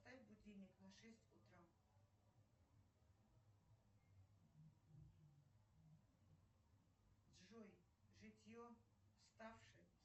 поставь будильник на шесть утра джой житье ставшее